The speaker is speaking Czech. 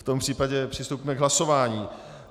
V tom případě přistoupíme k hlasování.